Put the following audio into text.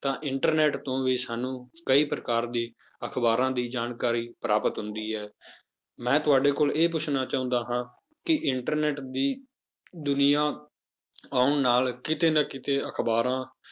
ਤਾਂ internet ਤੋਂ ਵੀ ਸਾਨੂੰ ਕਈ ਪ੍ਰਕਾਰ ਦੀ ਅਖ਼ਬਾਰਾਂ ਦੀ ਜਾਣਕਾਰੀ ਪ੍ਰਾਪਤ ਹੁੰਦੀ ਹੈ ਮੈਂ ਤੁਹਾਡੇ ਕੋਲੋਂ ਇਹ ਪੁੱਛਣਾ ਚਾਹੁੰਦਾ ਹਾਂ ਕਿ internet ਦੀ ਦੁਨੀਆਂ ਆਉਣ ਨਾਲ ਕਿਤੇ ਨਾ ਕਿਤੇ ਅਖ਼ਬਾਰਾਂ